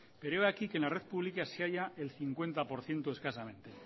pero he aquí que en la red pública se haya el cincuenta por ciento escasamente